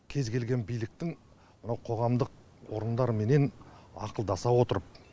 кез келген биліктің мынау қоғамдық орындарменен ақылдаса отырып